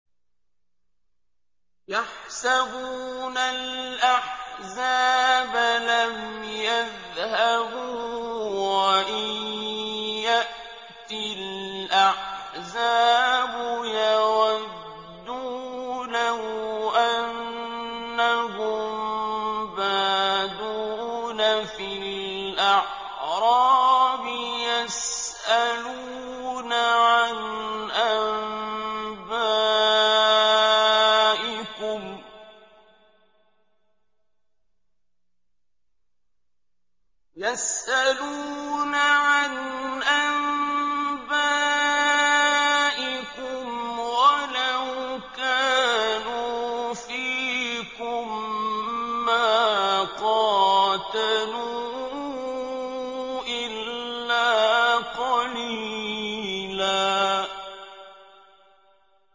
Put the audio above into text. يَحْسَبُونَ الْأَحْزَابَ لَمْ يَذْهَبُوا ۖ وَإِن يَأْتِ الْأَحْزَابُ يَوَدُّوا لَوْ أَنَّهُم بَادُونَ فِي الْأَعْرَابِ يَسْأَلُونَ عَنْ أَنبَائِكُمْ ۖ وَلَوْ كَانُوا فِيكُم مَّا قَاتَلُوا إِلَّا قَلِيلًا